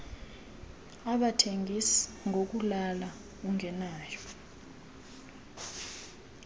abathengis ngokulala ungenayo